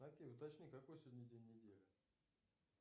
афина уточни какой сегодня день недели